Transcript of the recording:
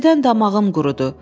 İstidən damağım qurudu.